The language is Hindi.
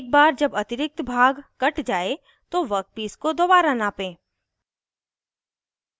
एक बार जब अतिरिक्त भाग कट जाये तो वर्कपीस को दोबारा नापें